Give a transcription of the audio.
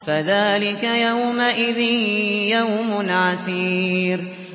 فَذَٰلِكَ يَوْمَئِذٍ يَوْمٌ عَسِيرٌ